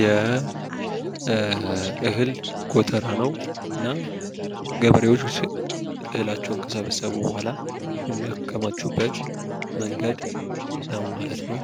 የእህል ጎተራ ነው። እና ገበሬዎች እህላቸውን ከሰበሰቡ በኋላ የሚያከማቹበት መንገድ ነው ማለት ነው።